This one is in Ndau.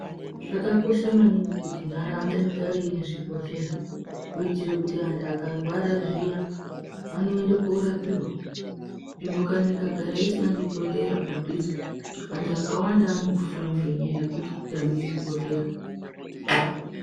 Zvakakosha maningi kuti nharaunda igare ine zvibhehleya kuitire kuti vanhu vakarwara zviya vanoende korapiwa nzvimbo ikagara isina chibhehleya padhuze anhu ,vanhu vakawanda vanofa ngenyaya yekutame zvibhehleya.